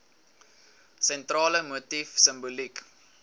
sentrale motief simboliek